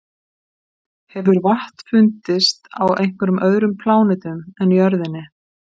Hefur vatn fundist á einhverjum öðrum plánetum en jörðinni?